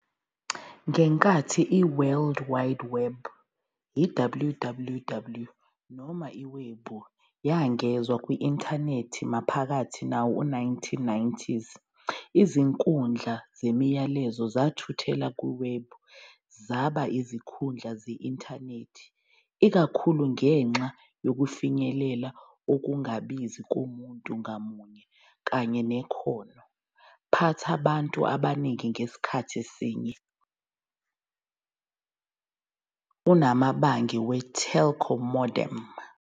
Ngenkathi iWorld Wide Web, WWW, noma 'iwebhu', yengezwa kwi-Intanethi maphakathi nawo-1990s, izinkundla zemiyalezo zathuthela kuwebhu, zaba izinkundla ze-Intanethi, ikakhulu ngenxa yokufinyelela okungabizi komuntu ngamunye kanye nekhono phatha abantu abaningi ngasikhathi sinye kunamabhange we-telco modem.